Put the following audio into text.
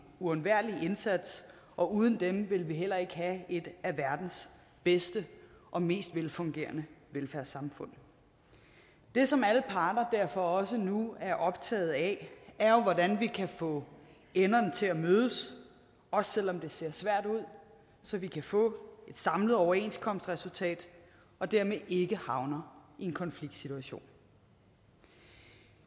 uundværlig indsats og uden dem ville vi heller ikke have et af verdens bedste og mest velfungerende velfærdssamfund det som alle parter derfor også nu er optaget af er jo hvordan vi kan få enderne til at mødes også selv om det ser svært ud så vi kan få et samlet overenskomstresultat og dermed ikke havner i en konfliktsituation